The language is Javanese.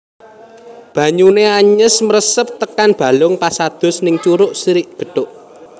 Banyune anyes mresep tekan balung pas adus ning Curug Sri Gethuk